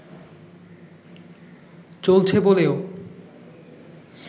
চলছে বলেও